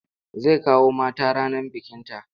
Zai kawo mata ranar bikinta.